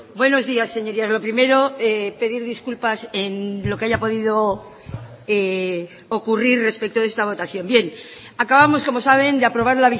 buenos días señorías lo primero pedir disculpas en lo que haya podido ocurrir respecto de esta votación bien acabamos como saben de aprobar